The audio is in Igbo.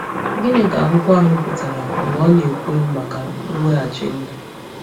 Gịnị ka akwụkwọ ahụ pụtara mgbe ọ na-ekwu maka mweghachi ndụ?